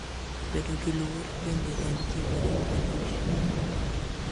Bedo gi luor bende en gino ma ipuonjogi.